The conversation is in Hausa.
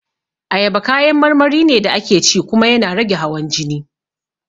Ayaba kayan marmari ne da ake ci kuma yana rage hawan jini